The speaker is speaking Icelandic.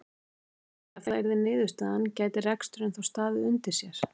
Heimir: Ef það yrði niðurstaðan gæti reksturinn þá staðið undir sér?